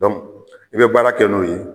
i bɛ baara kɛ n'o ye